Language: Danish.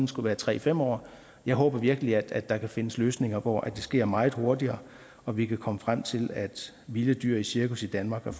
skulle være tre fem år jeg håber virkelig at der kan findes løsninger hvor det sker meget hurtigere og vi kan komme frem til at vilde dyr i cirkus i danmark